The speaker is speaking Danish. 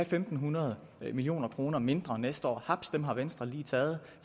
fem hundrede million kroner mindre næste år haps dem har venstre lige taget